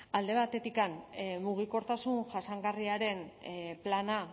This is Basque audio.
alde batetik mugikortasun jasangarriaren plana